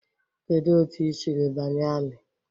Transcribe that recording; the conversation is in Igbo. Kedu otu ị siri banye ami?